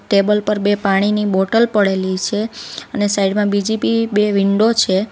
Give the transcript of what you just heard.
Table પર બે પાણીની બોટલ પડેલી છે અને સાઈડ માં બીજી બી બે વિન્ડો છે.